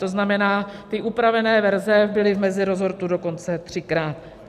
To znamená, ty upravené verze byly v meziresortu dokonce třikrát.